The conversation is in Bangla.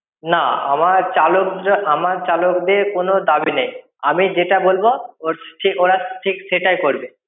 না, আমার চালকরা~ আমার চালকদের কোনো দাবি নেই। আমি যেটা বলবো, ওর~ ঠিক ওরা ঠিক সেটাই করবে।